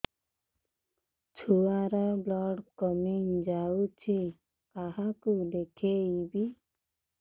ଛୁଆ ର ବ୍ଲଡ଼ କମି ଯାଉଛି କାହାକୁ ଦେଖେଇବି